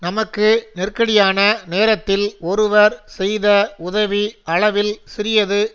நமக்கு நெருக்கடியான நேரத்தில் ஒருவர் செய்த உதவி அளவில் சிறியது